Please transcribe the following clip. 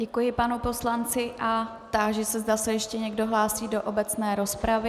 Děkuji panu poslanci a táži se, zda se ještě někdo hlásí do obecné rozpravy.